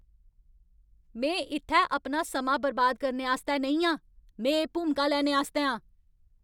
में इत्थै अपना समां बर्बाद करने आस्तै नेईं आं! में एह् भूमिका लैने आस्तै आं।